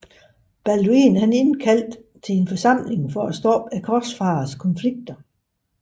Balduin indkaldte til en forsamling for at stoppe korsfarerledernes konflikter